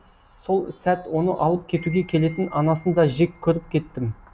сол сәт оны алып кетуге келетін анасын да жек көріп кеттім